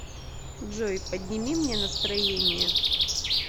джой подними мне настроение